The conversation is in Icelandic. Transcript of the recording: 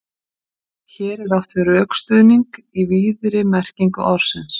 hér er átt við rökstuðning í víðri merkingu orðsins